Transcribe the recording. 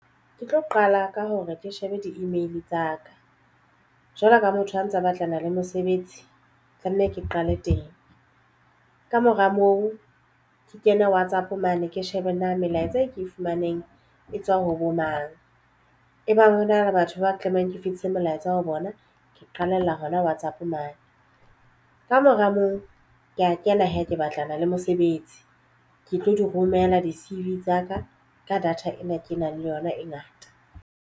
Ke tlo qala ka hore ke shebe di-email tsa ka jwalo ka motho a ntsa batlana le mosebetsi tlamehile ke qale teng. Ka mora moo ke kene WhatsApp mane ke shebe na melaetsa e ke e fumaneng e tswa ho bo mang ebang hona le batho ba tlamehang ke fetise molaetsa ho bona ke qalella hona WhatsApp mane. Ka mora moo ke ya kena ha ke batlana le mosebetsi ke tlo di romela di-C-V tsa ka data ena e kenang le yona e ngata.